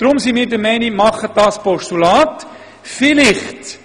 Deshalb sind wir der Meinung, dass Sie in ein Postulat wandeln sollten.